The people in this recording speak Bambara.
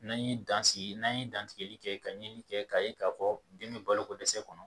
N'an ye dan sigi n'an ye dantigɛli kɛ ka ɲinini kɛ k'a ye k'a fɔ den bɛ balokodɛsɛ kɔnɔ